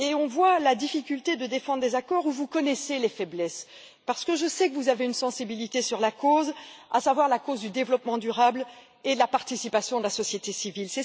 On voit la difficulté de défendre des accords dont vous connaissez les faiblesses, parce que je sais que vous avez une sensibilité sur la cause, à savoir la cause du développement durable et de la participation de la société civile.